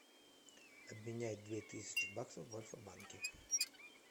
обменять две тысячи баксов в альфа банке